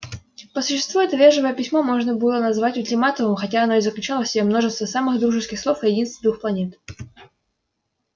по существу это вежливое письмо можно было назвать ультиматумом хотя оно и заключало в себе множество самых дружеских слов о единстве двух планет